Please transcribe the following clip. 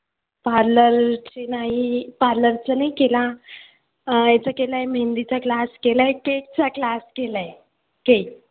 parlour चे नाही parlor चा नाही केला. अं याचा केलाय मेहंदीचा class केलाय. cake चा class केलाय. cake